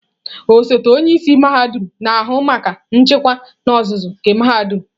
Osote onye isi mahadum na-ahụ maka nchịkwa n'ozuzu nke mahadum.